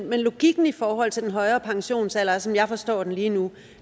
men logikken i forhold til den højere pensionsalder er som jeg forstår det lige nu